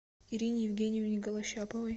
ирине евгеньевне голощаповой